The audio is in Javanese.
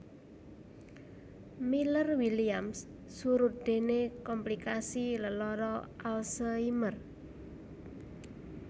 Miller Williams surut déné komplikasi lelara Alzheimer